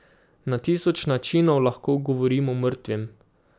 Na tisoč načinov lahko govorimo mrtvim.